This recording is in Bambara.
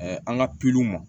an ka ma